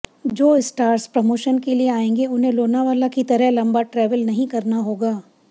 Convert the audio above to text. जो stars promotion के लिए आयेंगे उन्हें लोनावला की तरह लंबाट्रैवल नहीं करना होगा